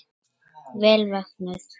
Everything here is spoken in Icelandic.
Vel vöknuð!